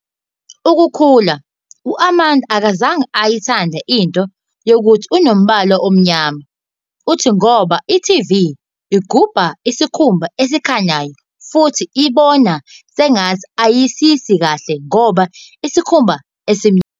Ukukhula, u-Amanda akazange ayithande into yokuthi unombala omnyama, uthi ngoba i-TV igubha isikhumba esikhanyayo futhi ibona sengathi ayisiyisi kahle ngoba isikhumba esimnyama.